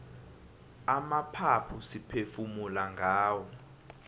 amaphaphu siphefumula ngawo